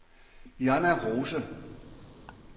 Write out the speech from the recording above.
Jonna Rose